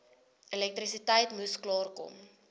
elektrisiteit moes klaarkom